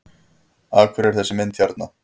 Af hverju er þessi mynd hérna?